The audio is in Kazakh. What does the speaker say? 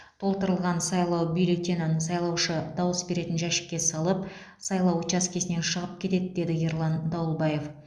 толтырылған сайлау бюллетенін сайлаушы дауыс беретін жәшікке салып сайлау учаскесінен шығып кетеді деді ерлан дауылбаев